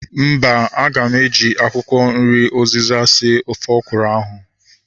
Mba, aga m eji akwụkwọ nri uzịza sie ofe ọkwụrụ ahu